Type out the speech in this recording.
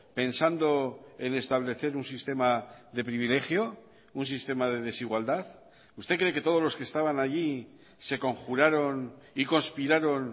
pensando en establecer un sistema de privilegio un sistema de desigualdad usted cree que todos los que estaban allí se conjuraron y conspiraron